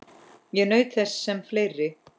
Ég naut þess sem fleiri.